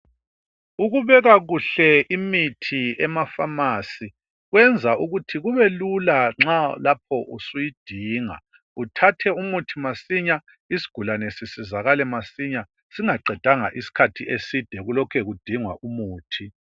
Ukubeka kuhle imithi ema phamarcy kwenza ukuthi kubelula nxa lapho usuyidinga uthathe umuthi masinya isigulane sisizakale masinya singaqedanga isikhathi eside kulokhe kudingwa umuthi